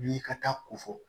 Wuli ka taa ko fɔ